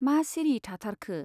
मा सिरि थाथारखो ?